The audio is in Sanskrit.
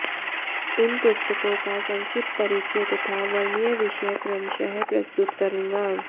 इन पुस्तकों का संक्षिप्त परिचय तथा वर्ण्यविषय क्रमशः प्रस्तुत करूँगा